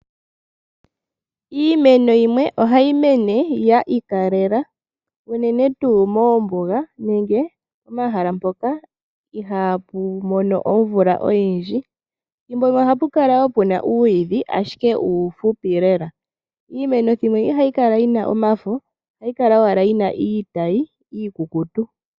Iimeno yimwe ohayi mene yiikalela unene tuu moombuga nenge pomahala mpoka ihaapu mono omvula oyindji. Ethimbo limwe ohapu kala puna uuyidhi ashike uufupi lela. Iimeno thimbo limwe ihayi kala yina omafo ohayi kala owala yina iitayi iikukutu.